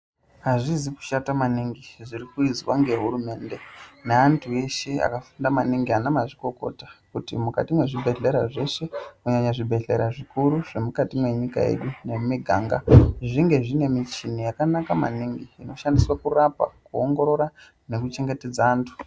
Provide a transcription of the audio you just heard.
Azvizi kushata maningi zviri kuizwa nehurumende neantu eshe akafunda maningi ana mazvikokota kuti mukati mwezvibhehleya zveshe kunyanya zvibhehlera zvikuru mukati mwenyika yedu nemumiganga zvinge zvine michini yakanaka maningi inoshandiswa kurapa, kuwongorora nekuchengetedza antu.